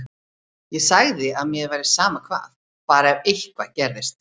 Ég sagði að mér væri sama hvað, bara ef eitthvað gerðist.